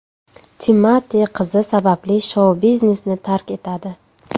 Timati qizi sababli shou-biznesni tark etadi.